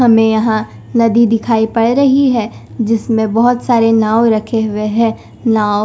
हमें यहां नदी दिखाई पड़ रही है जिसमें बहुत सारे नाव रखे हुए हैं नाव--